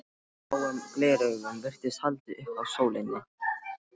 Gráum gleraugum virtist haldið upp að sólinni.